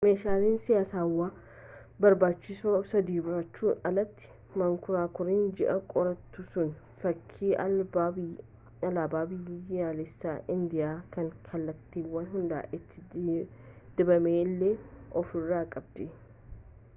meeshaalee saayinsaawaa barbaachisoo sadii baachuun alatti mankuraakuriin ji'a qorattu sun fakkii alaabaa biyyaalessaa indiyaa kan kallattiiwwan hundaan itti dibame illee ofirraa qabdi